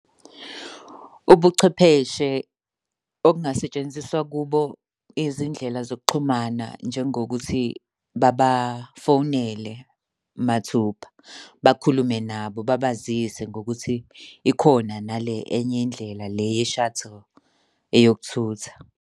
Ubuchwepheshe obungasetshenziswa kubo izindlela zokuxhumana njengokuthi babafonela mathupha, bakhulume nabo babazise ngokuthi ikhona nale enye indlela le ye-shuttle eyokuthutha.